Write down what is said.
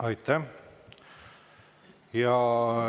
Aitäh!